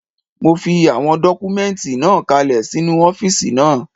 Mo fi àwọn dọ́kúmẹ́ǹtì náà kalẹ̀ sínu ọ́fìsì náà